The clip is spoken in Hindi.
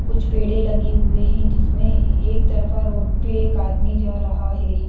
कुछ पेड़े लगे हुए हैं जिसमें एक तरफा रोड पे एक आदमी जा रहा है।